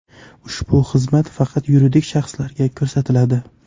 Ushbu xizmat faqat yuridik shaxslarga ko‘rsatiladi.